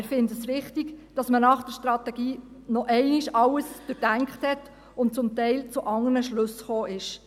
Wir finden es wichtig, dass man nach der Strategie noch einmal alles durchgedacht hat und teilweise zu anderen Schlüssen gekommen ist.